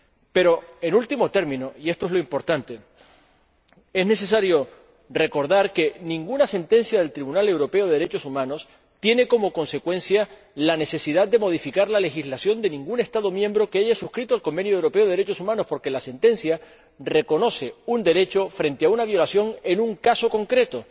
Pero, en último término, y esto es lo importante, es necesario recordar que ninguna sentencia del Tribunal Europeo de Derechos Humanos tiene como consecuencia la necesidad de modificar la legislación de ningún Estado miembro que haya suscrito el Convenio Europeo para la Protección de los Derechos Humanos, porque la sentencia reconoce un derecho frente a una violación en un caso concreto.